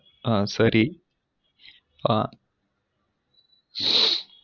அ சரி அ